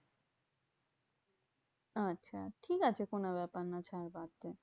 আচ্ছা ঠিকাছে কোনো ব্যাপার না ছাড় বাদ দে।